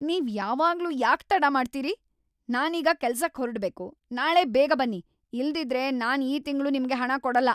ನೀವ್ ಯಾವಾಗ್ಲೂ ಯಾಕ್ ತಡ ಮಾಡ್ತೀರಿ? ನಾನೀಗ ಕೆಲ್ಸಕ್ ಹೊರಡ್ಬೇಕು! ನಾಳೆ ಬೇಗ ಬನ್ನಿ, ಇಲ್ದಿದ್ರೆ ನಾನ್ ಈ ತಿಂಗ್ಳು ನಿಮ್ಗೆ ಹಣ ಕೊಡಲ್ಲ.